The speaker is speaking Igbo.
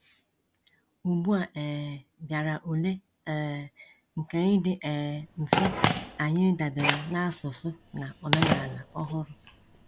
Ugbu a um bịara ule um nke ịdị um mfe anyị ịdabere na asụsụ na omenala ọhụrụ.